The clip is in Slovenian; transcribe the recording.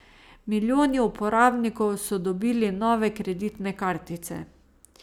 Milijoni uporabnikov so dobili nove kreditne kartice.